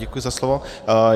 Děkuji za slovo.